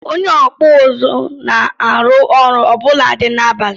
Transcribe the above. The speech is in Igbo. Onye okpu uzu na-arụ ọrụ ọbụnadi n'abalị.